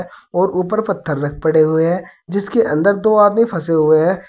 और ऊपर पत्थर पड़े हुए हैं जिसके अंदर दो आदमी फंसे हुए हैं।